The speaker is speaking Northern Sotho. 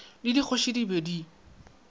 le dikgoši di be di